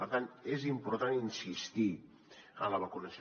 per tant és important insistir en la vacunació